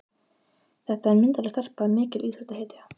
Þetta er myndarleg stelpa, mikil íþróttahetja.